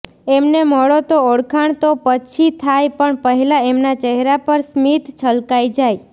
એમને મળો તો ઓળખાણ તો પછી થાય પણ પહેલા એમના ચહેરા પર સ્મિત છલકાઈ જાય